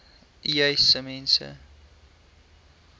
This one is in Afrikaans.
uys sê mense